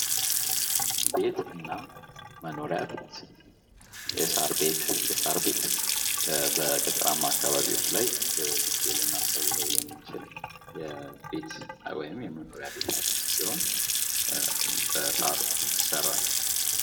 ቤትና መኖሪያ ቤት የሳር ቤት የሳር ቤት በገጠራማ አካባቢዎች ላይ ብዙ ጊዜ ልናስተውለው የምንችል የቤት ወይም የመኖሪያ ቤት አይነት ሲሆን በሳር ይሰራል።